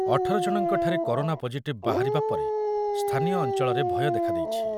ଅଠର ଜଣଙ୍କଠାରେ corona positive ବାହାରିବା ପରେ ସ୍ଥାନୀୟ ଅଞ୍ଚଳରେ ଭୟ ଦେଖାଦେଇଛି।